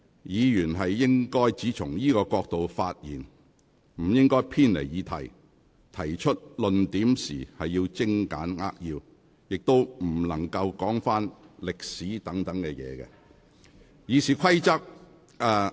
議員應只從這個角度發言，不應偏離議題，而提出論點時應精簡扼要，亦不能論述歷史等事宜。